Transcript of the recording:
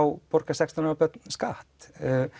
borga þau skatt